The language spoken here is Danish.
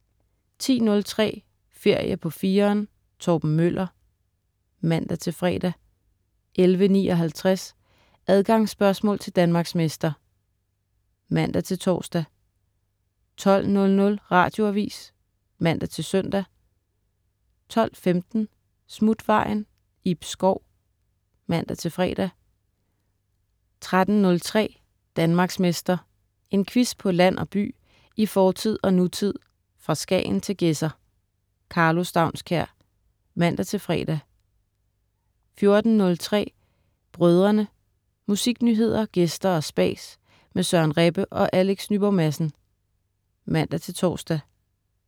10.03 Ferie på 4'eren. Torben Møller (man-fre) 11.59 Adgangsspørgsmål til Danmarksmester (man-tors) 12.00 Radioavis (man-søn) 12.15 Smutvejen. Ib Schou (man-fre) 13.03 Danmarksmester. En quiz på land og by, i fortid og nutid, fra Skagen til Gedser. Karlo Staunskær (man-fre) 14.03 Brødrene. Musiknyheder, gæster og spas med Søren Rebbe og Alex Nyborg Madsen (man-tors)